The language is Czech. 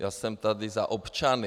Já jsem tady za občany.